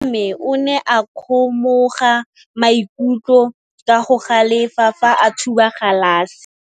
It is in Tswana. Morwa wa me o ne a kgomoga maikutlo ka go galefa fa a thuba galase.